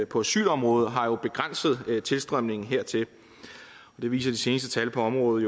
på asylområdet har jo begrænset tilstrømningen hertil det viser de seneste tal på området